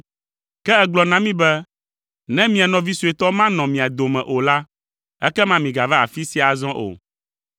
Ke ègblɔ na mí be, ‘Ne mia nɔvi suetɔ manɔ mia dome o la, ekema migava afi sia azɔ o.’